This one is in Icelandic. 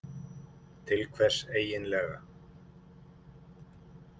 Til hvers eigin lega?